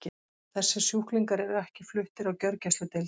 Þessir sjúklingar eru ekki fluttir á gjörgæsludeild.